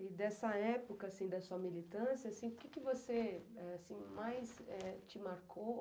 E dessa época da sua militância, o que você mais te marcou?